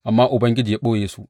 Amma Ubangiji ya ɓoye su.